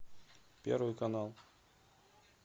первый канал